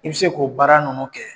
I bi se k'o baara ninnu kɛ.